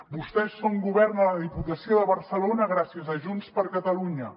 vostès són govern a la diputació de barcelona gràcies a junts per catalunya